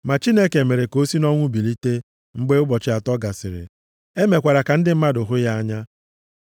Ma Chineke mere ka o si nʼọnwụ bilite mgbe ụbọchị atọ gasịrị. E mekwara ka ndị mmadụ hụ ya anya.